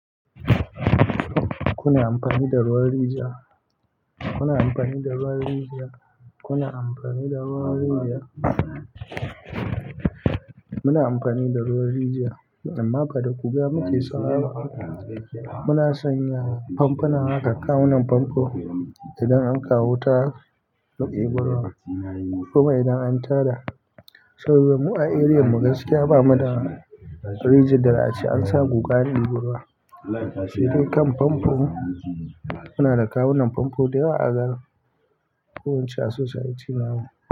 Kuna amfani da ruwan rijiya? Kuna amfani da ruwan rijiya? Kuna amfani da ruwan rijiya? Muna amfani da ruwan rijiya, amma fa da guga muke so. Muna sanya famfuna haka, kawunan famfo idan an kawo wuta haka mu eba ruwa kuma idan an tada. Saboda mu a eriyam mu gaskiya bamu da rijiyar da za a ce an sa guga an eba ruwa. Sai dai kan famfon, muna da kawunan famfo da yawa a garin, ko wuce a society namu.